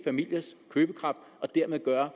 vil gøre